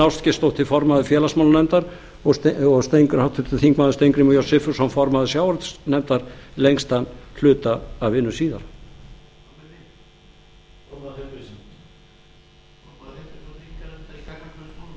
ástgeirsdóttir formaður félagsmálanefndar og háttvirtur þingmaður steingrímur j sigfússon formaður sjávarútvegsnefndar lengst af hluta af vinnu síðar hann